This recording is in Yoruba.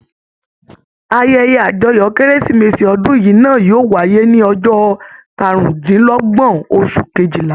Ayẹyẹ àjọyọ̀ Kérésìmesì ọdún yìí náà yóò wáyé ní ọjọ́ karùndínlọ́gbọ́n oṣù kejìlá.